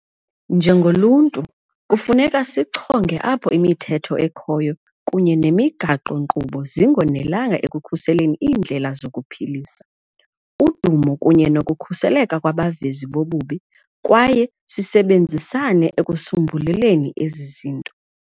Njengoluntu, kufuneka sichonge apho imithetho ekhoyo kunye nemigaqo-nkqubo zingonelanga ekukhuseleni iindlela zokuziphilisa, udumo kunye nokukhuseleka kwabavezi bobubi kwaye sisebenzisane ekusombululeni ezi zinto.